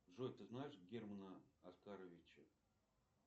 джой ты знаешь германа оскаровича